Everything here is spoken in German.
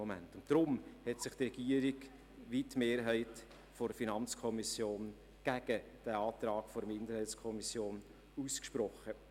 Darum hat sich sowohl die Regierung als auch die FiKo-Mehrheit gegen den Antrag der Kommissionsminderheit ausgesprochen.